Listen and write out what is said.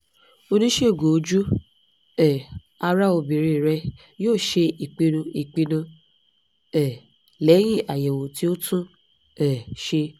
onisegun oju um ara obinrin rẹ yoo ṣe ipinnu ipinnu um lẹhin ayẹwo ti o tun um ṣe